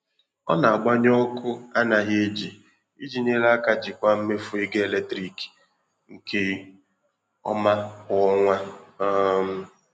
Ọ na-agbanyụ ọkụ anaghị eji iji nyere aka jikwaa mmefu ọkụ eletrik nke ọma kwa ọnwa. um